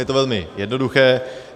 Je to velmi jednoduché.